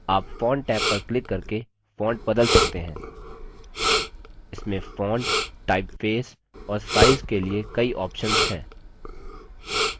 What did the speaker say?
आप font tab पर click करके font बदल सकते हैं इसमें font typeface और size